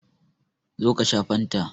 Zo ka sha fanta!